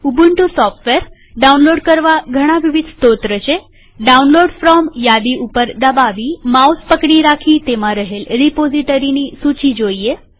Ubuntu software download કરવા ઘણા વિવિધ સ્ત્રોત છેડાઉનલોડ ફ્રોમ યાદી પર દબાવીમાઉસ પકડી રાખી તેમાં રહેલ રીપોઝીટરીની સૂચી જોઈએ